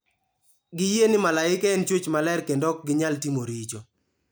Giyie ni malaike en chwech maler kendo ok ginyal timo richo.